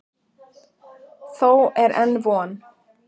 Þó er enn von.